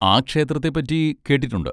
ആ ക്ഷേത്രത്തെ പറ്റി കേട്ടിട്ടുണ്ട്.